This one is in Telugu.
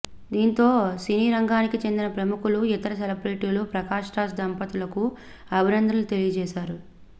దాంతో సినీరంగానికి చెందిన ప్రముఖులు ఇతర సెలబ్రేటీలు ప్రకాష్ రాజ్ దంపతులకు అభినందనలు తెలియచేశారు